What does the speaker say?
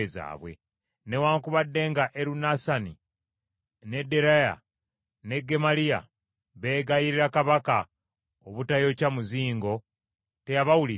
Newaakubadde nga Erunasani, ne Deraaya ne Gemaliya beegayirira kabaka obutayokya muzingo, teyabawuliriza.